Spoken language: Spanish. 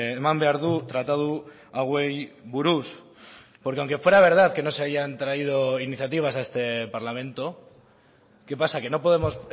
eman behar du tratatu hauei buruz porque aunque fuera verdad que no se hayan traído iniciativas a este parlamento qué pasa que no podemos